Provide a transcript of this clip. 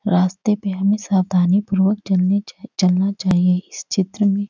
रास्ते पे हमे साबधानी पूर्वक चलनि चाई चलना चाहिये इस चित्र में--